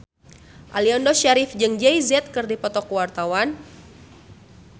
Aliando Syarif jeung Jay Z keur dipoto ku wartawan